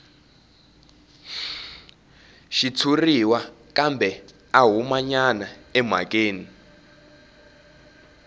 xitshuriwa kambe a humanyana emhakeni